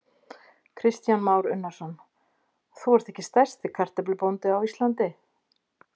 Kristján Már Unnarsson: Þú ert ekki stærsti kartöflubóndi á Íslandi?